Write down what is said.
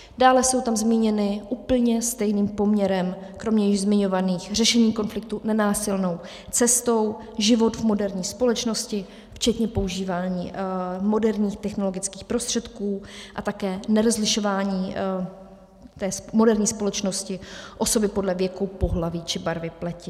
Dále jsou tam zmíněny úplně stejným poměrem kromě již zmiňovaných řešení konfliktů nenásilnou cestou, život v moderní společnosti včetně používání moderních technologických prostředků a také nerozlišování v moderní společnosti osoby podle věku, pohlaví či barvy pleti.